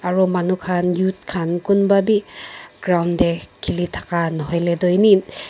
aru manu khan youth khan kunba bhi ground te kheli thaka nohoi le tu eni--